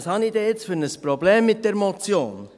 Was habe ich denn jetzt für ein Problem mit der Motion?